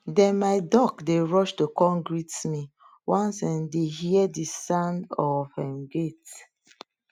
dem my duck dey rush to kon greet me once dem dey hear the sound of um gate